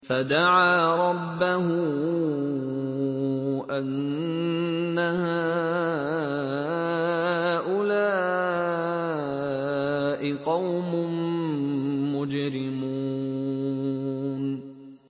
فَدَعَا رَبَّهُ أَنَّ هَٰؤُلَاءِ قَوْمٌ مُّجْرِمُونَ